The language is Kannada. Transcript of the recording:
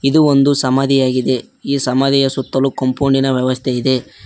ಇದು ಒಂದು ಸಮಾಧಿಯಾಗಿದೆ ಈ ಸಮಾಧಿಯ ಸುತ್ತಲೂ ಕಂಪೌಂಡ್ ಇನ ವ್ಯವಸ್ಥೆ ಇದೆ.